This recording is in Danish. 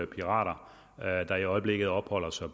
pirater der i øjeblikket opholder sig